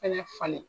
Fɛnɛ falen